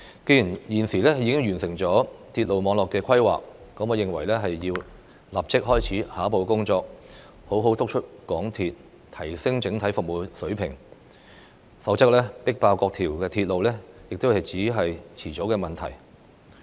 既然政府現時完成了鐵路網絡的規劃，我認為便要立即開始下一步工作，好好督促香港鐵路有限公司提升整體服務水平，否則"迫爆"各條鐵路只是遲早的問題。